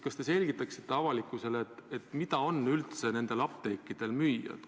Kas te selgitaksite avalikkusele, mida on üldse nende apteekidel müüa?